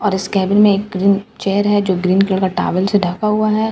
और इस केबिन में एक ग्रीन चेयर हैं जो ग्रीन कलर का टॉवल से ढका हुआ हैं।